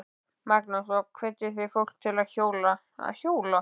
Magnús: Og hvetjið þið fólk til að hjóla?